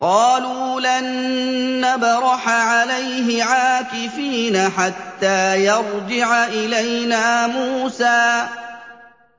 قَالُوا لَن نَّبْرَحَ عَلَيْهِ عَاكِفِينَ حَتَّىٰ يَرْجِعَ إِلَيْنَا مُوسَىٰ